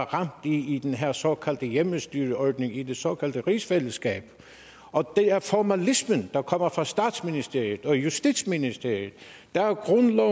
ramt i den her såkaldte hjemmestyreordning i det såkaldte rigsfællesskab det er formalismen der kommer fra statsministeriet og justitsministeriet der er grundlov